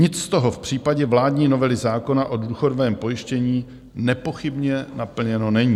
Nic z toho v případě vládní novely zákona o důchodovém pojištění nepochybně naplněno není.